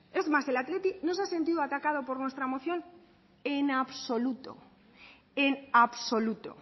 es más el athletic no se ha sentido atacado por nuestra moción en absoluto en absoluto